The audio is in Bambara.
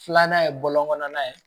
Filanan ye bɔlɔn kɔnɔna ye